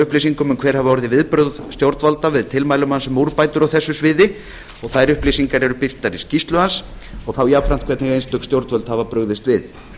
upplýsingum um hver hafi orðið viðbrögð stjórnvalda við tilmælum hans um úrbætur á þessu sviði þær upplýsingar eru birtar í skýrslu hans og þá jafnframt hvernig einstök stjórnvöld hafa brugðist við